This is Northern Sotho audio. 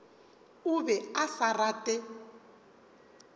o be a sa rate